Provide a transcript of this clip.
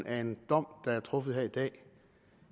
af en dom der er truffet i dag